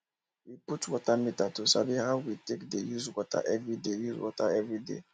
we put water meter to sabi how we take dey use water everyday use water everyday